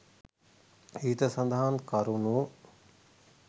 ඉහත සඳහන් කරුණු